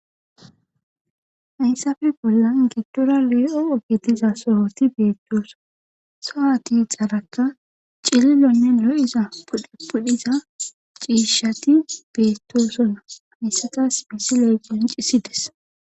hayssafe bollan giddora lee7o ogetiza sohoti beettoosa sohati xaaraka cililonne lo7iza dpudhiza ciishshati beettosona hayssatas misi lee qancisides